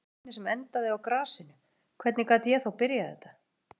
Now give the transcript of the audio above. Ég var sá eini sem endaði á grasinu, hvernig gat ég þá byrjað þetta?